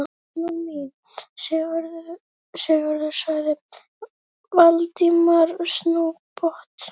Konan mín, Sigríður sagði Valdimar snubbótt.